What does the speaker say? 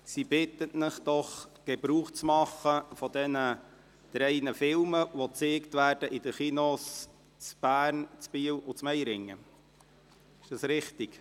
Sie bittet Sie, vom Angebot dieser drei Filme, die in den Kinos in Bern, Biel und Meiringen gezeigt werden, Gebrauch zu machen.